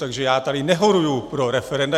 Takže já tady nehoruji pro referenda.